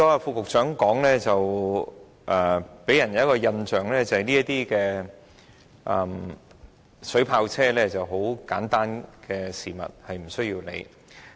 副局長剛才的發言予人一個印象，就是水炮車是很簡單的事物，不需理會。